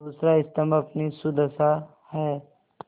दूसरा स्तम्भ अपनी सुदशा है